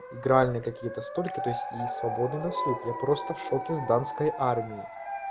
игральные какие-то столько то есть и свободный досуг я просто в шоке с данской армии